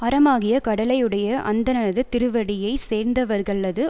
அறமாகிய கடலையுடைய அந்தணனது திருவடியைச் சேர்ந்தவர்க்கல்லது